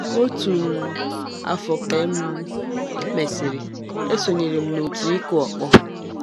Otu um afọ ka e um mesịrị, esonyere m òtù ịkụ ọkpọ.